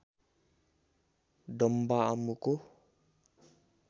डम्बा आमुको